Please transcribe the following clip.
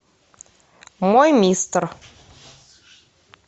мой мистер